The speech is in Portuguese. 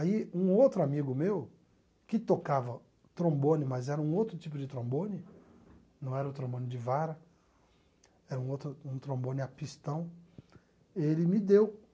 Aí um outro amigo meu, que tocava trombone, mas era um outro tipo de trombone, não era o trombone de vara, era um outro um trombone a pistão, ele me deu